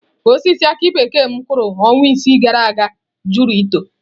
Osisi aki bekee m kụrụ ọnwa isii gara aga jụrụ ito.